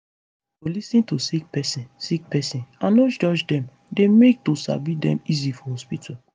to lis ten to sick pesin sick pesin and no judge dem dey make to sabi dem easy for hospitol